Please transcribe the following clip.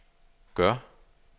gør